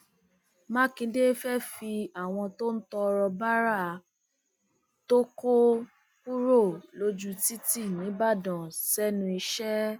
mákindé fẹẹ fi àwọn tó ń tọrọ báárà tó kó kúrò lójú títì nìbàdàn sẹnu iṣẹ